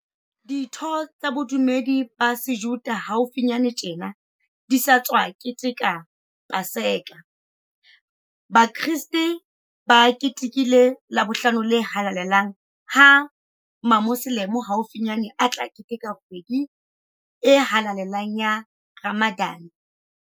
Ditho tsa bodu medi ba Sejuda haufinyane tjena di sa tswa keteka Pa seka, Bakreste ba ketekile Labohlano le Halalelang ha Mamoselemo haufinyane a tla keteka kgwedi e halale lang ya Ramadan.